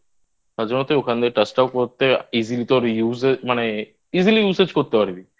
তাই জন্য তুই ওখান দিয়ে Touch টা করতে Easily তোর Use এ করতে পারবি